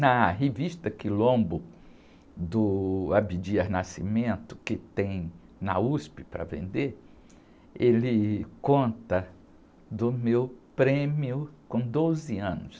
Na revista Quilombo, do Abdias Nascimento, que tem na uspi para vender, ele conta do meu prêmio com doze anos.